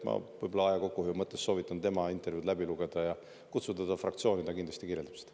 Ma aja kokkuhoiu mõttes soovitan teil tema intervjuu läbi lugeda ja kutsuda ta fraktsiooni, ta kindlasti kirjeldab seda.